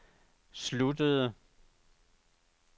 sluttede